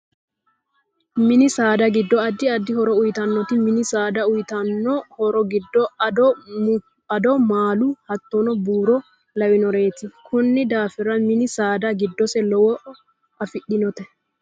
Mini saada addi addi horo uyiitanote mini saad auyiitano horo giddo addo ,maalu hattono buuro lawanoreeti konni daafira mini saada giddose lowo afidhinote